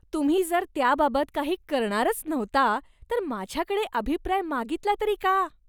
तुम्ही जर त्याबाबत काही करणारच नव्हता तर माझ्याकडे अभिप्राय मागितला तरी का?